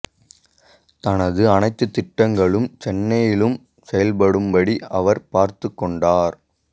தனது அனைத்து திட்டங்களும் சென்னையிலும் செயல்படும்படி அவர் பார்த்துக் கொண்டார்